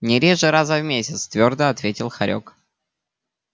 не реже раза в месяц твёрдо ответил хорёк